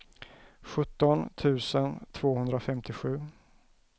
sjutton tusen tvåhundrafemtiosju